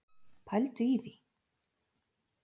Pældu í því!